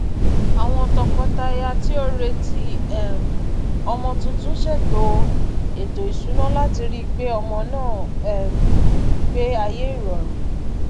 àwọn tọkọtaya tí ó retí um ọmọ tuntun ṣètò ètò ìṣúná láti rí pé ọmọ náà um gbé ayé ìrọrùn